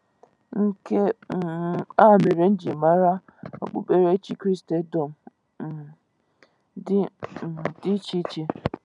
Nke um a mere m jiri mara okpukperechi Kristendom um dị um dị iche iche..